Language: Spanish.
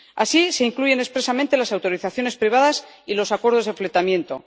Así se incluyen expresamente las autorizaciones privadas y los acuerdos de fletamento.